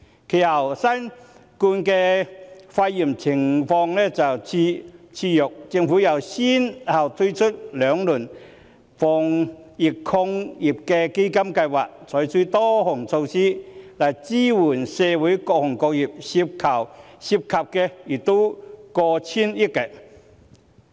其後，新型冠狀病毒肺炎疫情肆虐，政府又先後推出兩輪防疫抗疫基金，採取多項措施來支援社會各行各業，涉款亦過千億元。